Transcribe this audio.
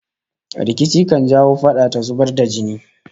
Rikici kan jawo fada ta zubar da jini